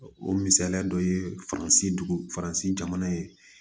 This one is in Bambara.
O misaliya dɔ ye faransi faransi jamana ye